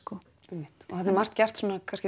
einmitt og þarna er margt gert